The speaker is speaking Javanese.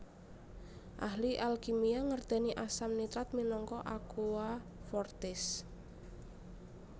Ahli alkimia ngertèni asam nitrat minangka aqua fortis